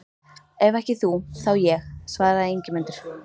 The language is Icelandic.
Ef ekki þú, þá ég, svaraði Ingimundur.